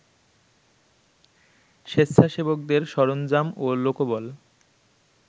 স্বেচ্ছাসেবকদের সরঞ্জাম ও লোকবল